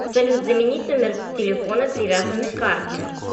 салют заменить номер телефона привязанный к карте